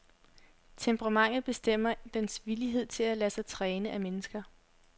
Temperamentet bestemmer dens villighed til at lade sig træne af mennesker.